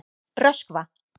Röskva